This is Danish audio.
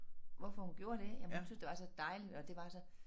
Hvorfor hun gjorde det jamen hun synes det var så dejligt og at det var så